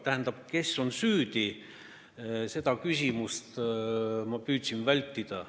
Tähendab, seda küsimust, kes on süüdi, ma püüdsin vältida.